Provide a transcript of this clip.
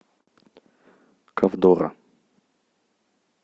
ковдора